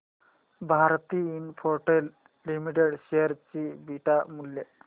Bharti Infratel limited share चे beta मूल्य